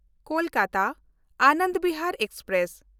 ᱠᱳᱞᱠᱟᱛᱟ–ᱟᱱᱚᱱᱫ Bihar express